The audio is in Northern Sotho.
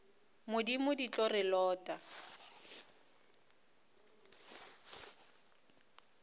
modimo di tlo re lota